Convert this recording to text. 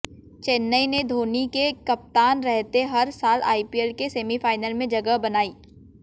चेन्नई ने धौनी के कप्तान रहते हर साल आईपीएल के सेमीफाइनल में जगह बनाई